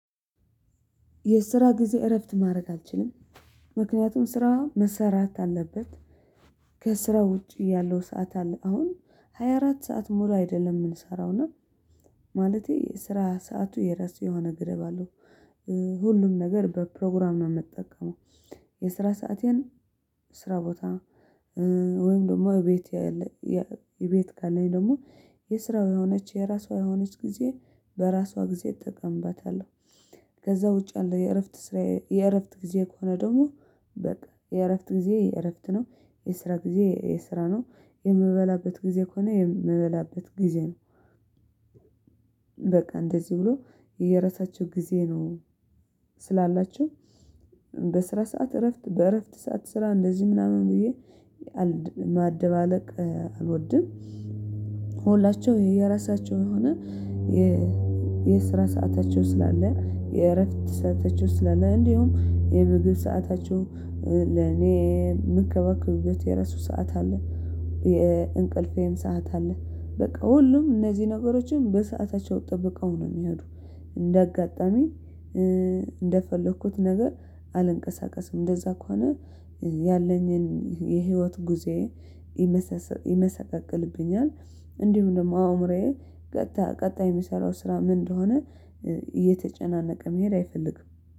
የስራ ጊዜ እረፍት ማድረግ አልችልም። ምክንያቱም ስራ መሰራት አለበት ከስራ ውጪ ያለው ሰዓት አለ አሁን ሀያአራት ሰዓት ሙሉ አይደለም የምንሰራው እና ማለቴ የስራ ሰዓቱ የራሱ የሆነ ገደብ አለው። ሁሉም ነገር በፕሮግራም ነው የምጠቀመው የስራ ሰአቴን ስራ ቦታ ወይም ደግሞ እቤት እቤት ካለኝ ደግሞ የስራው የሆነች የራሷ የሆነች ጊዜ በራሷ ጊዜ እጠቀምባታለሁ። ከዛ ውጪ አለ የእረፍት ስራ የእረፍት ጊዜ ከሆነ ደግሞ በቃ የእረፍት ጊዜ የእረፍት ነው የስራ ጊዜ የስራ ነው የምበላበት ጊዜ ከሆነ የምበላበት ጊዜ ነው። በቃ እንደዚህ ብሎ የራሳቸው ጊዜ ነው ስላላቸው በስራ ሰዓት እረፍት በእረፍት ሰዓት ስራ እንደዚህ ምናምን ብዬ ማደባለቅ አልወድም። የራሳችሁ የሆነ የስራ ሰአታችሁ ስላለ የእረፍት ሰአታችሁ ስለሌ እንዲሁም የምግብ ሰአታችሁ ለኔ የምከባክሉት የረሱ ሰዓት አለ። የእንቅልፌን ሰዓት አለ በቃ ሁሉም እነዚህ ነገሮችን በሰአታቸው ጠብቀው ነው የሚሄዱ እንደ አጋጣሚ እንደፈለኩት ነገር አልንቀሳቀስም እንደዛ ከሆነ ያለኝን የህይወት ጉዞዬ ይመሰቀቅልብኛል። እንዲሁም ደግሞ አእምሮዬ ቀጣይ ቀጣይ የሚሰራው ስራ ምን እንደሆነ እየተጨናነቀ መሄድ አይፈልግም